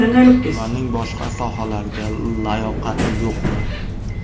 Ularning boshqa sohalarga layoqati yo‘qmi?